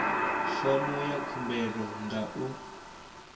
fomo ya khumbelo nga u